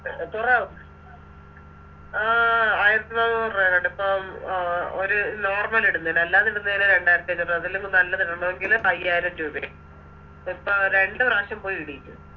ആ ആയിരത്തിനാനൂറ് രൂപയെങ്ങാണ്ട് പ്പം ഒര് Normal ഇടുന്നെന് അല്ലാതിടുന്നെന് രണ്ടായിരത്തി അഞ്ഞൂറ് അതല്ലെങ്കി നല്ലതിടാണോങ്കില് അയ്യായിരം രൂപയും